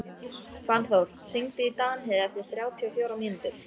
Fannþór, hringdu í Danheiði eftir þrjátíu og fjórar mínútur.